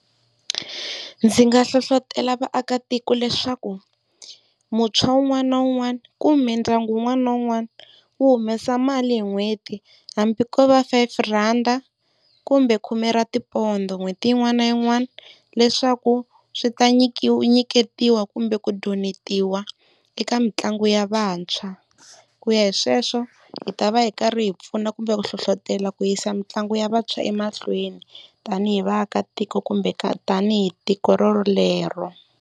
Ndzi nga hlohlotelo vaakatiko leswaku muntshwa wun'wana na wun'wana kumbe ndyangu wun'wana na wun'wana wu humesa mali hi n'hweti hambi ko va five rand, kumbe khume ra tipondho n'hweti yin'wana na yin'wana leswaku swi ta nyiketiwa kumbe ku donetiwa eka mitlangu ya vantshwa. Ku ya hi sweswo hi ta va hi karhi hi pfuna kumbe ku hlohlotela ku yisa mitlangu ya vantshwa emahlweni tani hi vaakatiko kumbe tani hi tiko rorolero.